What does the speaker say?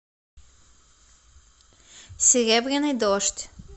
серебряный дождь